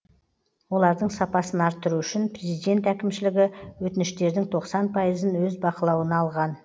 олардың сапасын арттыру үшін президент әкімшілігі өтініштердің тоқсан пайызын өз бақылауына алған